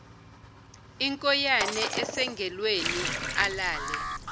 inkoyane esengalweni alale